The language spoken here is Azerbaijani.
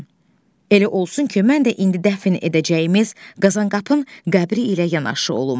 Elə olsun ki, mən də indi dəfn edəcəyimiz Qazanqapın qəbri ilə yanaşı olum.